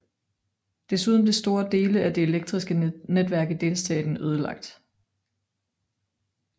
Desuden blev store dele af det elektriske netværk i delstaten ødelagt